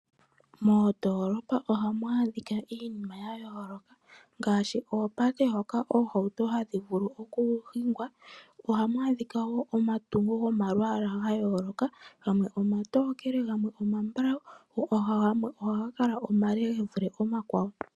Moondolopa ohamu adhika iinima ya yooloka ngaashi oopate hoka oohauto hadhi vulu okuhingwa. Ohamu adhikwa wo omatungo gomalwaala ga yooloka. Gamwe omatokele, gamwe omambulawu, go gamwe ohaga kale omale ge vule omakwawo.